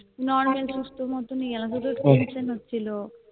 Normal সুস্থর মতনই গেলাম শুধু Tension হচ্ছিলো